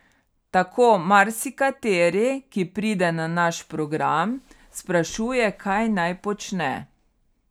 Tako marsikateri, ki pride na naš program, sprašuje, kaj naj počne.